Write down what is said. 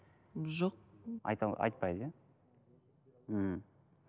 жоқ айтпайды иә мхм